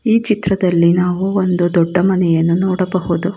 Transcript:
ಈ ಚಿತ್ರದಲ್ಲಿ ನಾವು ಒಂದು ದೊಡ್ಡ ಮನೆಯನ್ನು ನೋಡಬಹುದು.